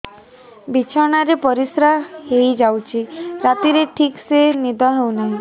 ବିଛଣା ରେ ପରିଶ୍ରା ହେଇ ଯାଉଛି ରାତିରେ ଠିକ ସେ ନିଦ ହେଉନାହିଁ